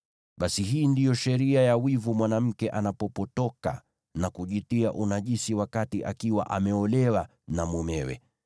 “ ‘Basi, hii ndiyo sheria ya wivu mwanamke anapopotoka na kujitia unajisi akiwa ameolewa na mumewe,